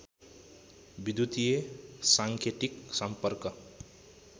विद्युतीय साङ्केतिक सम्पर्क